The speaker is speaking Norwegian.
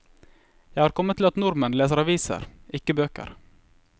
Jeg har kommet til at nordmenn leser aviser, ikke bøker.